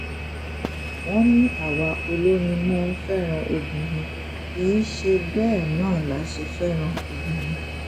wọ́n ní àwa olórin máa ń fẹ́ràn obìnrin kì í ṣe bẹ́ẹ̀ náà la ṣe fẹ́ràn obìnrin